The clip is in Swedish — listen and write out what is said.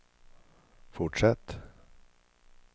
fortsätt